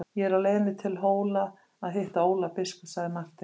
Ég er á leiðinni til Hóla að hitta Ólaf biskup, sagði Marteinn.